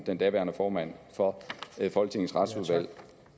den daværende formand for folketingets retsudvalg